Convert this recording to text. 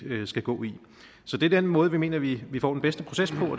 skal gå så det er den måde vi mener at vi får den bedste proces på